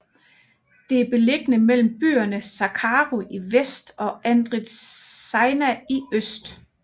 Det er beliggende mellem byerne Zacharo i vest og Andritsaina i øst